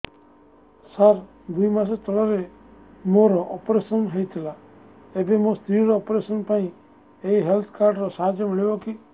ସାର ଦୁଇ ମାସ ତଳରେ ମୋର ଅପେରସନ ହୈ ଥିଲା ଏବେ ମୋ ସ୍ତ୍ରୀ ର ଅପେରସନ ପାଇଁ ଏହି ହେଲ୍ଥ କାର୍ଡ ର ସାହାଯ୍ୟ ମିଳିବ କି